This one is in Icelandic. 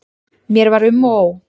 Mér var um og ó.